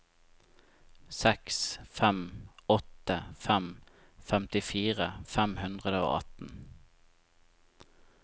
seks fem åtte fem femtifire fem hundre og atten